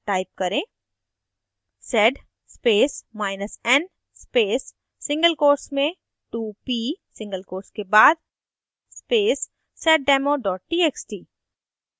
type करें sed spacen space single quotes में 2p single quotes के बाद space seddemo txt